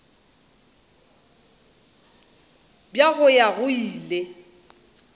bja go ya go ile